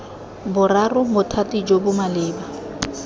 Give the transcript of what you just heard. boraro bothati jo bo maleba